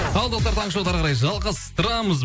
ал достар таңғы шоуды әріқарай жалғастырамыз